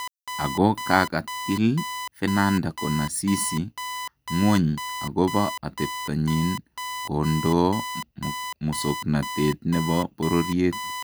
Ako kakatiil Fernanda konasisi ngwony akobo atebto nyin kondoo musoknotet nebo bororyeet